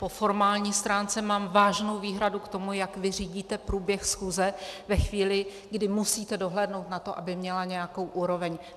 Po formální stránce mám vážnou výhradu k tomu, jak vy řídíte průběh schůze ve chvíli, kdy musíte dohlédnout na to, aby měla nějakou úroveň.